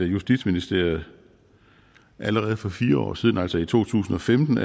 justitsministeriet allerede for fire år siden altså i to tusind og femten